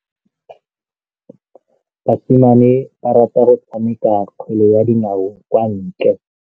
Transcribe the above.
Basimane ba rata go tshameka kgwele ya dinaô kwa ntle.